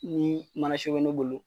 Ni mana so be mun bolo